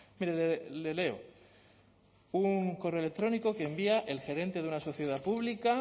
mire le leo un correo electrónico que envía el gerente de una sociedad pública a